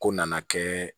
Ko nana kɛ